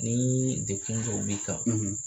Ni degun dɔ b'i kan